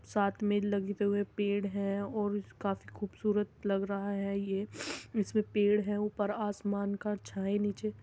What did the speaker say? साथ में पेड़ हैं और काफी खूबसूरत लग रहा है ये। इसमें पेड़ है ऊपर आसमान का छाया नीचे --